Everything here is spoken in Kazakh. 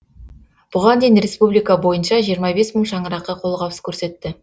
бұған дейін республика бойынша жиырма бес мың шаңыраққа қолғабыс көрсетті